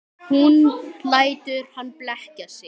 Hún lætur hann blekkja sig.